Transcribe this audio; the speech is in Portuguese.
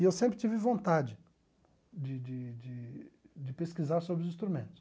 E eu sempre tive vontade de de de de pesquisar sobre os instrumentos.